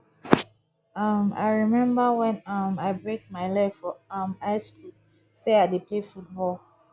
um i remember wen um i break my leg for um high school say i dey play football